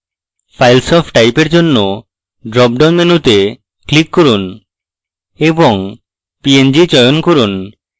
files of type এর জন্য dropdown মেনুতে click করুন এবং png চয়ন করুন